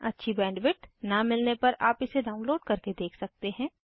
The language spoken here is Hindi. अच्छी बैंडविड्थ न मिलने पर आप इसे डाउनलोड करके देख सकते हैं